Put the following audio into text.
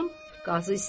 Qazı istəmədi.